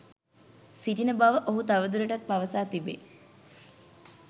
සිටින බව ඔහු තවදුරටත් පවසා තිබේ.